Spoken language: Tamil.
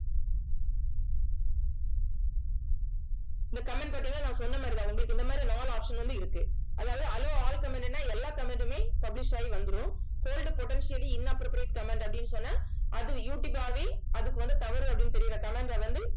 இந்த comment நான் சொன்ன மாதிரிதான். உங்களுக்கு இந்த மாதிரி நாலு option வந்து இருக்கு. அதாவது allow all comment ன்னா எல்லா comment மே publish ஆகி வந்துரும் hold potentially inappropriate comment அப்படின்னு சொன்னா அது யூடியூப் ஆவே அதுக்கு வந்த தவறு, அப்படின்னு தெரியிற comment அ வந்து